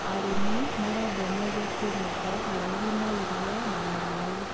Arĩmi marendwo maige kĩmĩko haraihu na irio na maĩ.